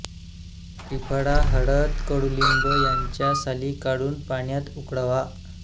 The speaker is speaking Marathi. त्रिफळा हळद कडूलिंब यांच्या साली काढून पाण्यात उकळवा